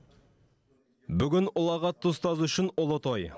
бүгін ұлағатты ұстаз үшін ұлы той